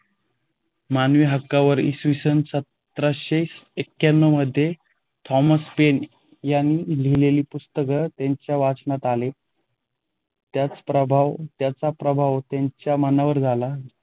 मानवी हक्कावर इ. स. सतराशे येकयानव मध्ये थॉमस पेन यांनी लिहिलेले पुस्तक त्यांच्या वाचनातआले. त्याचा प्रभाव त्यांच्या मनावर झाला.